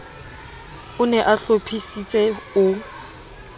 o ne a hlophisitse o